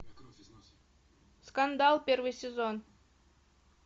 скандал первый сезон